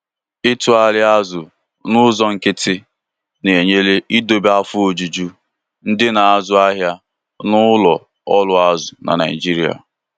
itụgharị azụ n'ụzọ nkịtị na-enyere idobe afọ ojuju ndị na-azu ahịa n'ụlọ ọrụ azụ na Naijiria.